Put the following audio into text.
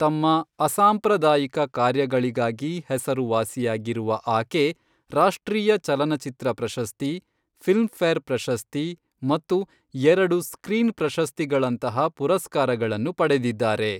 ತಮ್ಮ ಅಸಾಂಪ್ರದಾಯಿಕ ಕಾರ್ಯಗಳಿಗಾಗಿ ಹೆಸರುವಾಸಿಯಾಗಿರುವ ಆಕೆ ರಾಷ್ಟ್ರೀಯ ಚಲನಚಿತ್ರ ಪ್ರಶಸ್ತಿ, ಫಿಲ್ಮ್ಫೇರ್ ಪ್ರಶಸ್ತಿ ಮತ್ತು ಎರಡು ಸ್ಕ್ರೀನ್ ಪ್ರಶಸ್ತಿಗಳಂತಹ ಪುರಸ್ಕಾರಗಳನ್ನು ಪಡೆದಿದ್ದಾರೆ.